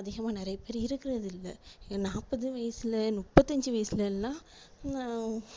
அதிகமா நிறைய பேர் இருக்குறது இல்ல இந்த நாற்பது வயசுல முப்பத்தஞ்சு வயசுலலாம் ஆஹ்